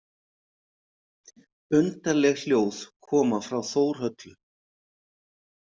Undarleg hljóð koma frá Þórhöllu.